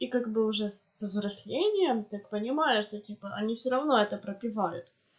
и как бы уже взрослением так понимаешь что типа они всё равно это пропивают